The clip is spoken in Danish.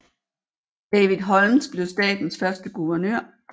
David Holmes blev statens første guvernør